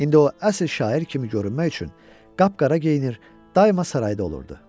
İndi o əsl şair kimi görünmək üçün qapqara geyinir, daima sarayda olurdu.